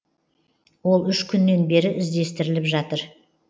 ол үш күннен бері іздестіріліп жатыр